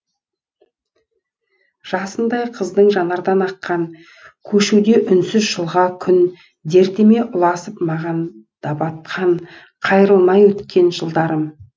жасындай қыздың жанардан аққан көшуде үнсіз жылға күн дертіме ұласып маған да батқан қайрылмай өткен жылдарым